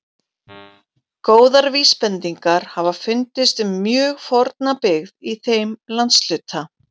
Góðar vísbendingar hafa fundist um mjög forna byggð í þeim landshluta.